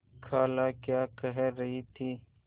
खाला क्या कह रही थी